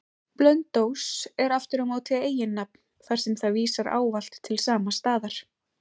Blönduós er aftur á móti eiginnafn, þar sem það vísar ávallt til sama staðar.